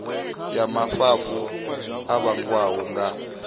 ya mafhafhu a vhangwa nga